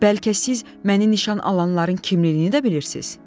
Bəlkə siz məni nişan alanların kimliyini də bilirsiz?